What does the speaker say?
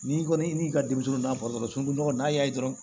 N'i kɔni y'i ka denmisɛnninw na bato so ɲɔgɔn n'a y'a ye dɔrɔn